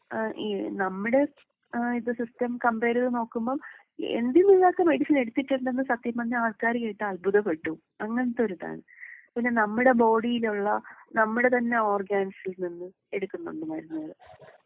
ഏഹ് ഈ നമ്മുടെ ഏഹ് ഇപ്പൊ സിസ്റ്റം കമ്പയർ ചെയ്ത് നോക്കുമ്പോ എന്തിൽ നിന്നൊക്കെ മെഡിസിൻ എടുത്തിട്ടുണ്ടെന്ന് സത്യം പറഞ്ഞാ ആൾക്കാര് കേട്ടാ അത്ഭുത പെടും. അങ്ങനത്തെ ഒരിതാണ്. നമ്മുടെ ബോഡിയിലുള്ള നമ്മുടെ തന്നെ ഓർഗാൻസിൽ നിന്ന് എടുക്കുന്നുണ്ട് മരുന്നുകള്.